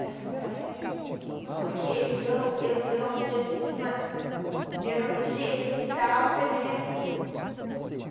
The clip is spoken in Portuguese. Elas contaram para mim, foi porque eu não eu não eu não podia, não é... Eu não podia, e dava para mim remédio.